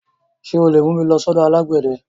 Ṣé o lè mú mi lọ sọ́dọ̀ alágbẹ̀dẹ?